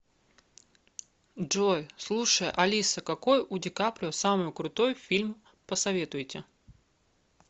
джой слушай алиса какой у ди каприо самый крутой фильм посоветуйте